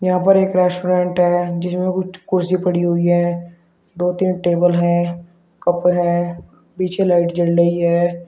यहां पर एक रेस्टोरेंट है जिसमें कुछ कुर्सी पड़ी हुई है दो तीन टेबल है कप हैं पीछे लाइट जल रही है।